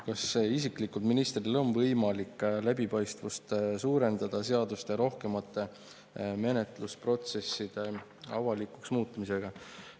Kas ministril isiklikult on võimalik läbipaistvust suurendada seaduste rohkemate menetlusprotsesside avalikuks muutmisega?